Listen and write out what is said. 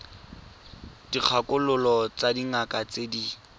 dikgakololo tsa dingaka tse di